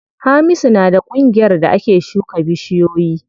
Hamisu na da ƙungiyar da ake shuka bishiyoyi.